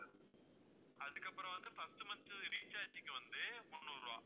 அதுக்கப்பறம் வந்து first month recharge க்கு வந்து முந்நூறு ரூபாய்